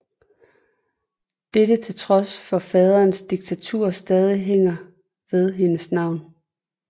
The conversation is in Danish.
Dette til trods for at faderens diktatur stadig hænger ved hendes navn